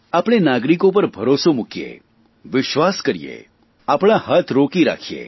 આપણે નાગરિકો પર ભરોસો મૂકીએ વિશ્વાસ કરીએ આપણા હાથ રોકી રાખીએ